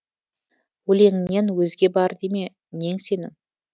өлеңіңнен өзге бар деме нең сенің